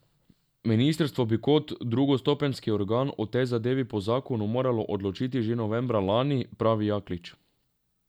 Ministrstvo bi kot drugostopenjski organ o tej zadevi po zakonu moralo odločiti že novembra lani, pravi Jaklič.